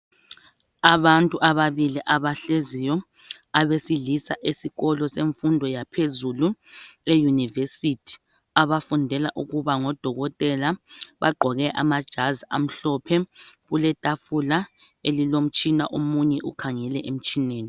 Abantu ababili abahleziyo abasilisa esikolo semfundo yaphezulu eyunivesithi abafundela ukuba ngodokotela bagqoke amajazi amhlophe kuletafula elilomtshina omunye ukhangele emtshineni.